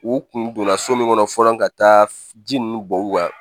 U kun donna so min kɔnɔ fɔlɔ ka taa ji nun bɔ u kan